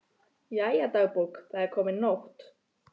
Jæja, dagbók, það er komin nótt.